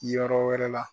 Yɔrɔ wɛrɛ la